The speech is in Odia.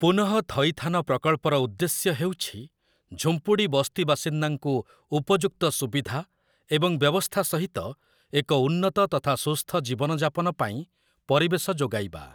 ପୁନଃଥଇଥାନ ପ୍ରକଳ୍ପର ଉଦ୍ଦେଶ୍ୟ ହେଉଛି ଝୁମ୍ପୁଡ଼ି ବସ୍ତିବାସିନ୍ଦାଙ୍କୁ ଉପଯୁକ୍ତ ସୁବିଧା ଏବଂ ବ୍ୟବସ୍ଥା ସହିତ ଏକ ଉନ୍ନତ ତଥା ସୁସ୍ଥ ଜୀବନଯାପନ ପାଇଁ ପରିବେଶ ଯୋଗାଇବା ।